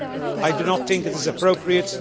I do not think it is appropriate.